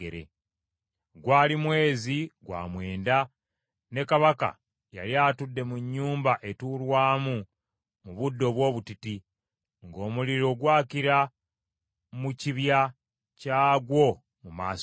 Gwali mwezi gwa mwenda ne kabaka yali atudde mu nnyumba etuulwamu mu budde obw’obutiti, ng’omuliro gwakira mu kibya kyagwo mu maaso ge.